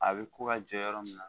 A be ko ka jɔ yɔrɔ min na